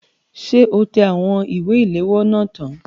Ṣé o tẹ àwọn ìwé ilèwọ́ náà tán?